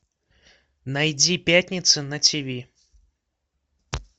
найди пятница на тиви